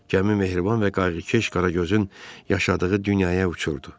Gəmi mehriban və qayğıkeş Qaragözün yaşadığı dünyaya uçurdu.